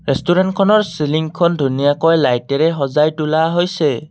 Restaurant খনৰ ceiling খন ধুনীয়াকৈ লাইট এৰে সজাই তোলা হৈছে।